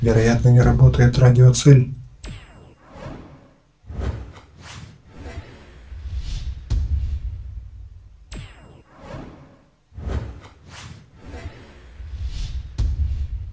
вероятно не работает радио-цель